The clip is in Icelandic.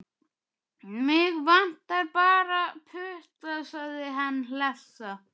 Mig vantar bara putta, sagði hann hlessa.